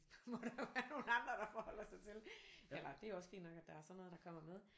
Må der jo være nogle andre der forholder sig til eller det er også fint nok at der er sådan noget der kommer med